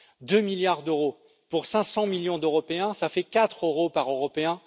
Deux milliards d'euros pour 500 millions d'Européens, cela fait quatre euros par Européen.